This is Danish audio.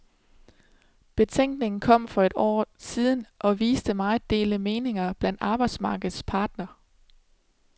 Betænkningen kom for et år siden og viste meget delte meninger blandt arbejdsmarkedets parter.